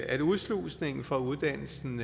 at udslusningen fra uddannelsen